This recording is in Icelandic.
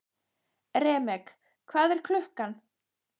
Remek, hvað er klukkan?